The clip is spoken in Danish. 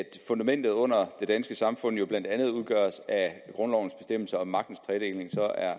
at fundamentet under det danske samfund blandt andet udgøres af grundlovens bestemmelser om magtens tredeling